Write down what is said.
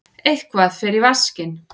Eitthvað fer í vaskinn